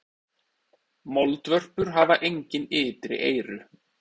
Moldvörpur hafa engin ytri eyru.